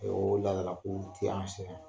o laadala kow tɛ an sɛbɛ ma.